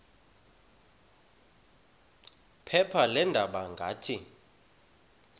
phepha leendaba ngathi